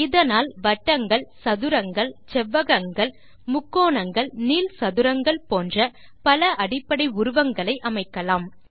இதனால் வட்டங்கள் சதுரங்கள் செவ்வகங்கள் முக்கோணங்கள் நீள் சதுரங்கள் போன்ற பல அடிப்படை உருவங்களை அமைக்கலாம்